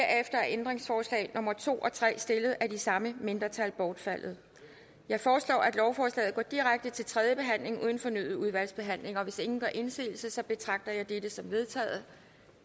er ændringsforslag nummer to og tre stillet af samme mindretal bortfaldet jeg foreslår at lovforslaget går direkte til tredje behandling uden fornyet udvalgsbehandling hvis ingen gør indsigelse betragter jeg dette som vedtaget